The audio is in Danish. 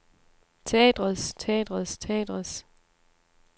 teatrets teatrets teatrets